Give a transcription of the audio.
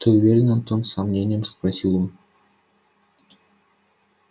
ты уверен антон с сомнением спросил он